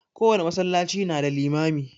Kowane masallaci na da limami.